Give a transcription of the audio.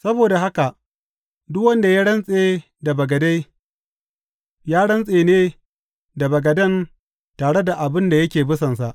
Saboda haka, duk wanda ya rantse da bagade, ya rantse ne da bagaden tare da abin da yake bisansa.